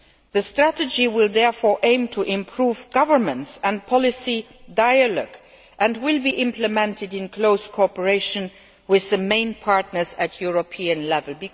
The strategy will therefore aim to improve governance and policy dialogue and will be implemented in close cooperation with the main partners at European level.